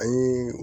Ani